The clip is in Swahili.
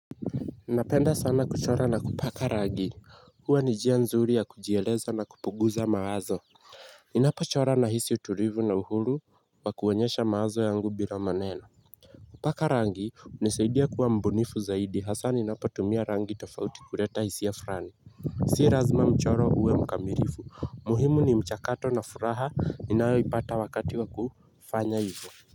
Napenda sana kuchora na kupaka rangi, huwa ni njia nzuri ya kujieleza na kupunguza mawazo. Ninapochora nahisi utulivu na uhuru wa kuonyesha mawazo yangu bila maneno. Kupaka rangi hunisaidia kuwa mbunifu zaidi hasaa ninapotumia rangi tofauti kuleta hisia fulani. Si lazima mchoro uwe mkamilifu, muhimu ni mchakato na furaha inayoipata wakati wa kufanya hivyo.